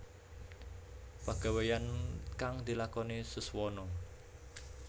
Pagaweyan kang dilakoni Suswono